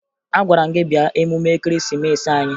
Agwara m gị bịa emume Ekeresimeesi anyị!